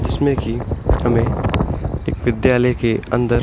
जिसमे कि हमें एक विद्यालय के अंदर --